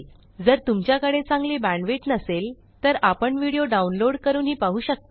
जर तुमच्याकडे चांगली बॅण्डविड्थ नसेल तर आपण व्हिडिओ डाउनलोड करूनही पाहू शकता